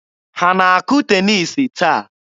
Ha na-akụ teniisi taa?